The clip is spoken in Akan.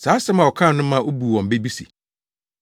Saa asɛm a wɔkaa no ma obuu wɔn bɛ bi se,